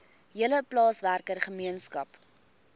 hele plaaswerker gemeenskap